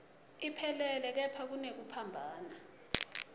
iphelele kepha kunekuphambana